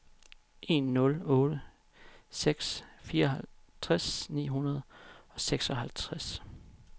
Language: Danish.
en nul otte seks fireoghalvtreds ni hundrede og seksoghalvtreds